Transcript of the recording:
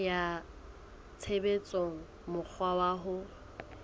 kenya tshebetsong mokgwa wa ho